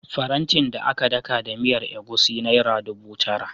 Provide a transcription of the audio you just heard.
Farantin da aka daka da miyar egusi naira dubu tara.